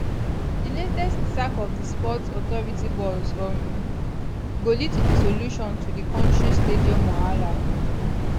di latest sack of di sports authority boss um go lead to di solution to di kontri stadium wahala